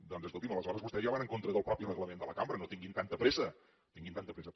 doncs escolti’m aleshores vostès ja van en contra del mateix reglament de la cambra no tinguin tanta pressa no tinguin tanta pressa